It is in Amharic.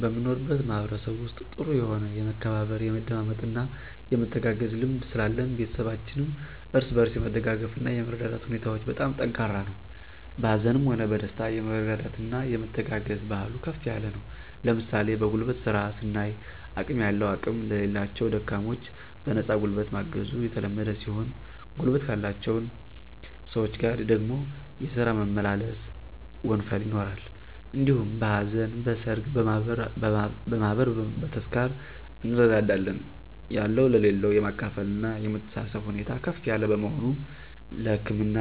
በምኖርበት ማህበረሰብ ውስጥ ጥሩ የሆነ የመከባበር፣ የመደማመጥና የመተጋገዝ ልምድ ስላለን ቤተሰባችንም እርስ በርስ የመደጋገፍና እና የመረዳዳት ሁኔታዎች በጣም ጠንካራ ነው። በሀዘንም ሆነ በደስታ የመረዳዳትና የመተጋገዝ ባህሉ ከፍ ያለ ነው ለምሣሌ በጉልበት ስራ ስናይ አቅም ያለው አቅም ለሌላቸው ደካሞች በነፃ ጉልበት ማገዙ የተለመደ ሲሆን ጉልበት ካላቸውን ሰወች ጋር ደግሞ የስራ መመላለስ (ወንፈል) ይኖራል። እንዲሁም በሀዘን: በሠርግ: በማህበር: በተስካር እንረዳዳለን። ያለው ለሌለው የማካፈልና የመተሳሰብብ ሁኔታ ከፍ ያለ በመሆኑ ለህክምና